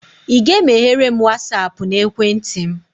ị ga-emeghere m Wasapụ na ekwentị m?